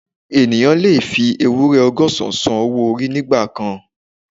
Ènìyàn lè fi ewúrẹ́ ọgọ́sán san owó orí nígbà kan